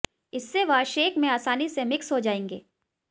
इससे वह शेक में आसानी से मिक्स हो जाएंगे